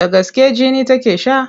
Da gaske jini take sha?